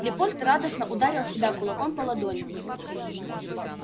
лепольд радостно ударил себя кулаком по ладони